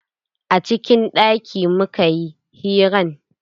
A cikin ɗaki mukayi hiran.